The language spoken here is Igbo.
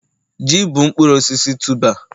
ji bụ mkpụrụ osisi tuber